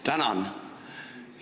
Tänan!